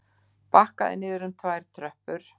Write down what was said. Bakkaði niður um tvær tröppur.